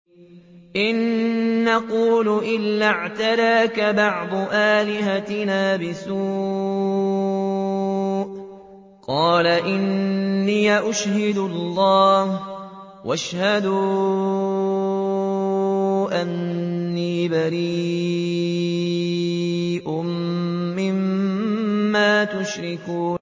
إِن نَّقُولُ إِلَّا اعْتَرَاكَ بَعْضُ آلِهَتِنَا بِسُوءٍ ۗ قَالَ إِنِّي أُشْهِدُ اللَّهَ وَاشْهَدُوا أَنِّي بَرِيءٌ مِّمَّا تُشْرِكُونَ